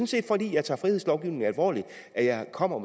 set fordi jeg tager frihedslovgivningen alvorligt at jeg kommer